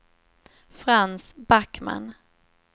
Frans Backman